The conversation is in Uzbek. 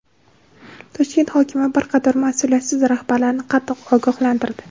Toshkent hokimi bir qator mas’uliyatsiz rahbarlarni qattiq ogohlantirdi.